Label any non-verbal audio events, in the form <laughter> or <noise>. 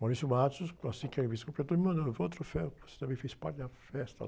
<unintelligible> assim que a revista completou, me mandou. Ele falou, olha um troféu, porque você também fez parte da festa.